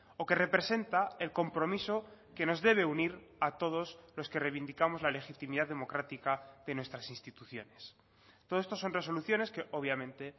o que representa el compromiso que nos debe unir a todos los que reivindicamos la legitimidad democrática de nuestras instituciones todo esto son resoluciones que obviamente